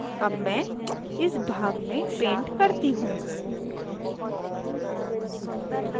अब मैं इस भाग में paint करती हूँ